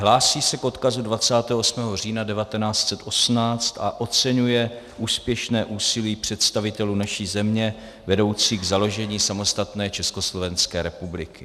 Hlásí se k odkazu 28 října 1918 a oceňuje úspěšné úsilí představitelů naší země vedoucí k založení samostatné Československé republiky.